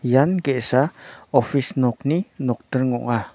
ian ge·sa opis nokni nokdring ong·a.